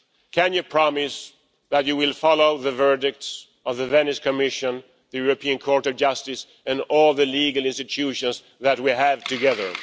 Can you promise that you will follow the verdicts of the Venice Commission, the European Court of Justice and all the legal institutions that we have together?